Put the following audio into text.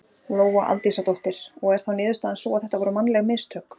Lóa Aldísardóttir: Og er þá niðurstaðan sú að þetta voru mannleg mistök?